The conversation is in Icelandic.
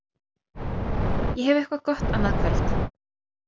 Ég hef eitthvað gott annað kvöld.